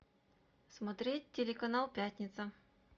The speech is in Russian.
смотреть телеканал пятница